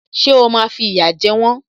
Ṣé o máa fi ìyà jẹ wọ́n?